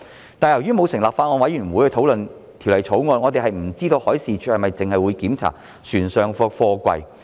然而，由於沒有成立法案委員會討論《條例草案》，我們不知道海事處是否只會檢查船上的貨櫃。